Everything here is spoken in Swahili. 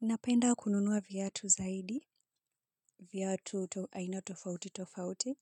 Napenda kununua viatu zaidi, viatu aina tofauti tofauti.